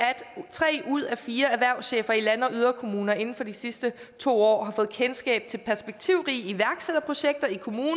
tre ud af fire erhvervschefer i land og yderkommuner inden for de sidste to år fået kendskab til perspektivrige iværksætterprojekter i kommunen